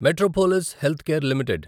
Metropolis Healthcare limited